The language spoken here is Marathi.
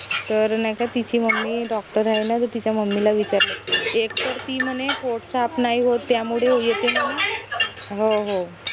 तर नाई का तिची mummydoctor आहे न तर तिच्या mummy ला विचारलं एक तर ती म्हने पोट साफ नाई होत त्यामुडे येते म्हने हो हो